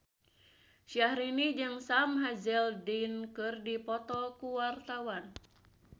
Syahrini jeung Sam Hazeldine keur dipoto ku wartawan